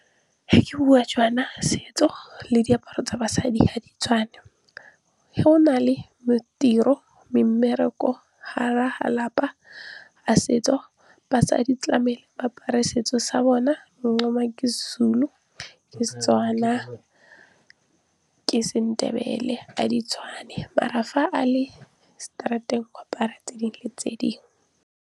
Ga ke bua jaana, setso le diaparo tsa basadi ga di tshwane. Ge o nale tiro, mmereko gare ga lapa a setso, basadi tlamehile ba apare setso sa bona. ke seZulu, seTswana, ke seNdebele ga di tshwane maar fa a le straat-eng a ka apara tse dingwe le tse dingwe.